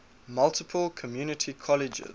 multiple community colleges